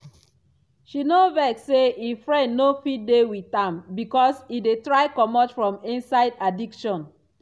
she no vex say e friend no fit dey with am because e dey try comot from inside addiction.